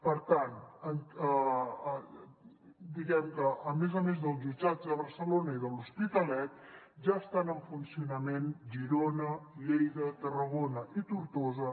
per tant diguem que a més a més dels jutjats de barcelona i de l’hospitalet ja estan en funcionament girona lleida tarragona i tortosa